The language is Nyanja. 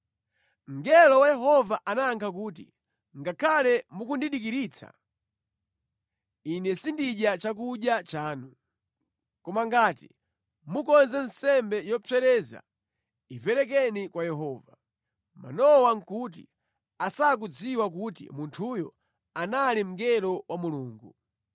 Mngelo wa Yehova anayankha kuti, “Ngakhale mukundidikiritsa, ine sindidya chakudya chanu. Koma ngati mukonze nsembe yopsereza iperekeni kwa Yehova.” (Manowa nʼkuti asakudziwa kuti munthuyo anali mngelo wa Mulungu).